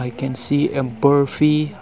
we can see a barfi